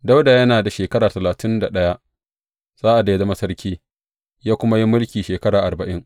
Dawuda yana da shekara talatin ɗaya sa’ad da ya zama sarki, ya kuma yi mulki shekara arba’in.